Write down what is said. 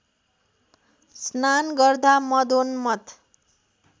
स्नान गर्दा मदोन्मत्त